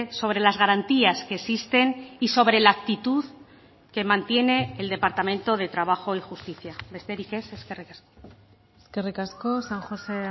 sobre las garantías que existen y sobre la actitud que mantiene el departamento de trabajo y justicia besterik ez eskerrik asko eskerrik asko san josé